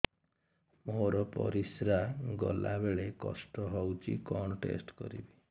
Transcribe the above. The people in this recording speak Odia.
ମୋର ପରିସ୍ରା ଗଲାବେଳେ କଷ୍ଟ ହଉଚି କଣ ଟେଷ୍ଟ କରିବି